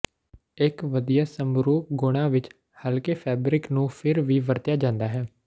ਇੱਕ ਵਧੀਆ ਸਮਰੂਪ ਗੁਣਾ ਵਿਚ ਹਲਕੇ ਫੈਬਰਿਕ ਨੂੰ ਫਿਰ ਵੀ ਵਰਤਿਆ ਜਾਂਦਾ ਹੈ